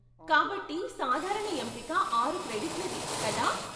కాబట్టి సాధారణ ఎంపిక ఆరు క్రెడిట్లది, కదా?